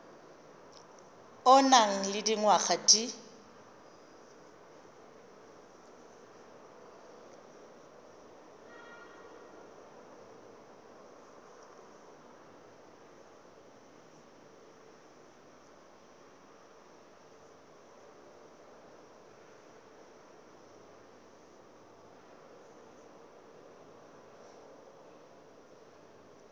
o nang le dingwaga di